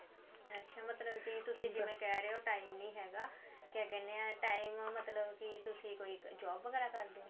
ਅੱਛਾ ਮਤਲਬ ਕਿ ਤੁਸੀਂ ਜਿਵੇਂ ਕਿਹ ਰਹੇ ਓ time ਨੀ ਹੈਗਾ ਕਿਆ ਕਹਿੰਦੇ ਆ time ਮਤਲਬ ਤੁਸੀਂ ਕਿ ਕੋਈ job ਵਗੈਰਾ ਕਰਦੇ ਓ